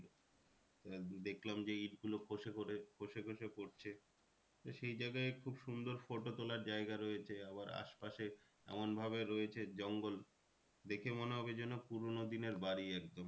এবার দেখলাম যে ইট গুলো খোসে খোসে খোসে পরছে। তো সেই জায়গায় খুব সুন্দর photo তোলার জায়গা রয়েছে। আবার আশপাশে এমন ভাবে রয়েছে জঙ্গল দেখে মনে হবে যেন পুরোনো দিনের বাড়ি একদম